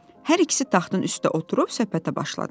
Hər ikisi taxtın üstə oturub söhbətə başladılar.